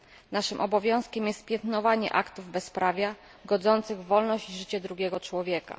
Naszym obowiązkiem jest piętnowanie aktów bezprawia, godzących w wolność i życie drugiego człowieka.